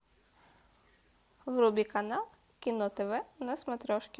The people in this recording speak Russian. вруби канал кино тв на смотрешке